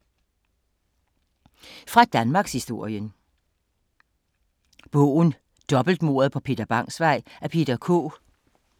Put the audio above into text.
Fra danmarkshistorien